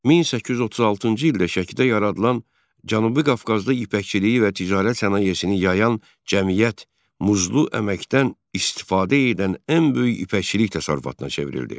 1836-cı ildə Şəkidə yaradılan Cənubi Qafqazda ipəkçiliyi və ticarət sənayesini yayan cəmiyyət muzlu əməkdən istifadə edən ən böyük ipəkçilik təsərrüfatına çevrildi.